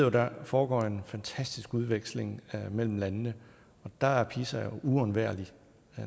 at der foregår en fantastisk udveksling mellem landene og der er pisa uundværlig